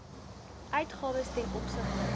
uitgawes ten opsigte